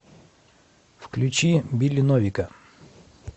включи билли новика